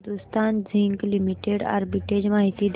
Hindustan zinc limited arbitrage माहिती दे